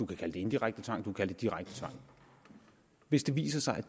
kan kalde det indirekte tvang man kan kalde det direkte tvang hvis det viser sig at